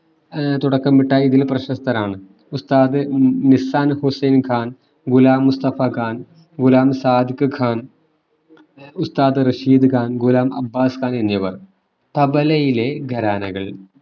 ഏർ തുടക്കമിട്ട ഇതിൽ പ്രശസ്തരാണ് ഉസതാദ് മിശ്രാൻ ഹുസ്സൈൻ ഖാൻ ഗുലാം മുസ്തഫ ഖാൻ ഗുലാം സാദിഖ് ഖാൻ ഉസതാദ് റഷീദ് ഖാൻ ഗുലാം അബ്ബാസ് ഖാൻ എന്നിവർ തബലയിലെ ഖരാനകൾ